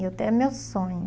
É até meu sonho.